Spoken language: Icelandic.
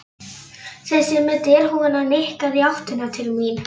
Þessi með derhúfuna nikkaði í áttina til mín.